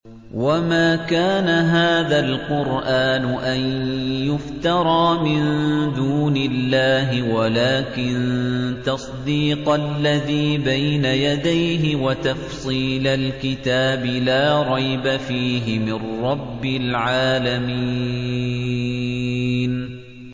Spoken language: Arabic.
وَمَا كَانَ هَٰذَا الْقُرْآنُ أَن يُفْتَرَىٰ مِن دُونِ اللَّهِ وَلَٰكِن تَصْدِيقَ الَّذِي بَيْنَ يَدَيْهِ وَتَفْصِيلَ الْكِتَابِ لَا رَيْبَ فِيهِ مِن رَّبِّ الْعَالَمِينَ